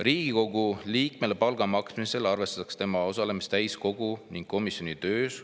"Riigikogu liikmele palga maksmisel arvestatakse tema osalemist täiskogu ning komisjonide töös.